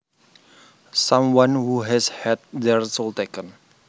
Someone who has had their soul taken